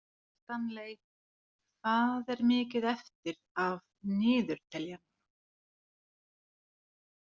Stanley, hvað er mikið eftir af niðurteljaranum?